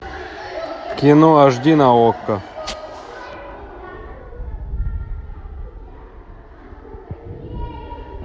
кино аш ди на окко